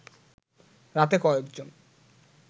রাতে কয়েকজন